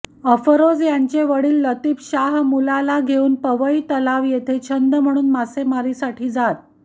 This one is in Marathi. अफरोज यांचे वडील लतीफ शाह मुलाला घेऊन पवई तलाव येथे छंद म्हणून मासेमारीसाठी जात